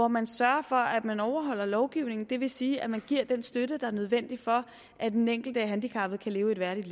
man sørger for at man overholder lovgivningen det vil sige at man giver den støtte der er nødvendig for at den enkelte handicappede kan leve et værdigt